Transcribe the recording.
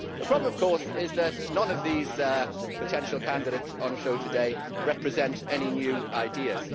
The problem of course is that none of these potential candidates on show today represents any new ideas.